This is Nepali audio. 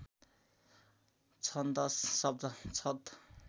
छन्दश् शब्द छद